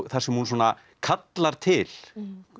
þar sem hún svona kallar til